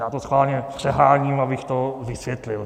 Já to schválně přeháním, abych to vysvětlil.